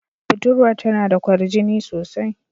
Budurwar tana da kwarjini sosai.